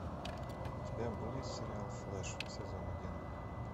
у тебя будет сериал флэш сезон один